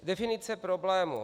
Definice problému.